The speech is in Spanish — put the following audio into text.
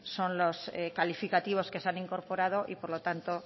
son los calificativos que se han incorporado y por lo tanto